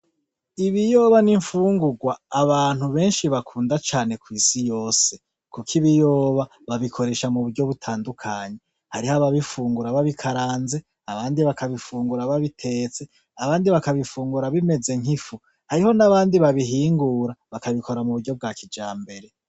Ibiyoba ni infungurwa abantu benshi bakunda cane kw'isi yose, kuko ibiyoba babikoresha mu buryo butandukanye, hariho ababifungura babikaranze abandi bakabifungura babitetse abandi bakabifungura bimeze nk'ifu, hariho nabandi babihingura bakabikora mu buryo bwa kijambere.